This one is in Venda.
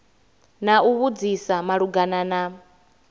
na u vhudzisa malugana na